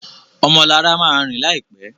Ọmọ Lara má rìn láìpé.